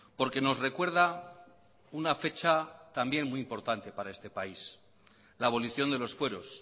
porque nos recuerda una fecha también muy importante para este país la abolición de los fueros